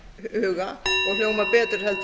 huga og hljómar betur